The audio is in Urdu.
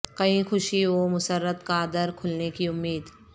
کہیں خوشی و مسرت کا در کھلنے کی امید